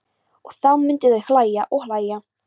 Og þá myndu þau hlæja og hlæja.